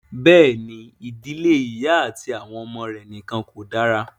Bẹ́ẹ̀ ni, ìdílé ìyá àti àwọn ọmọ rẹ̀ nìkan kò dára.